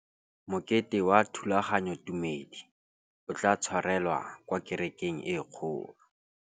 Mokete wa thulaganyôtumêdi o tla tshwarelwa kwa kerekeng e kgolo.